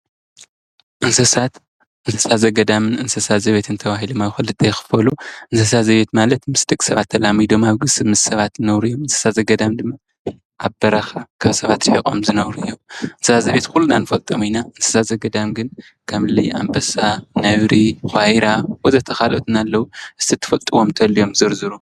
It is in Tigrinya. እንስሳት፡- እንስሳ ዘገዳምን እንስሳ ዘቤትን ተዋሂሎም ኣብ ክልተ ይኽፈሉ፡፡ እንስሳ ዘቤት ማለት ምስ ደቂ ሰባት ተላሚዶም ምስ ሰባት ዝነብሩ እዮም፡፡ እንስሳ ዘገዳም ድማ ኣብ በረኻ ካብ ሰባት ሪሒቖም ዝነብሩ እዮም፡፡ እንስሳ ዘቤት ኲልና ንፈልጦም ኢና፡፡ እንስሳ ዘገዳም ግን ከም እሊ ኣምበሳ፣ ነብሪ ፣ብኳርያ ወዘተ ኻልኦትን ኣለዉ፡፡ እስቲ ትፈልጥዎም እንተልዮም ዝርዝሩ?